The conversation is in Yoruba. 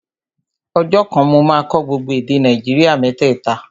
Ọjọ́ kan, mo máa kọ́ gbogbo èdè Nàìjíríà mẹ́tẹ̀ta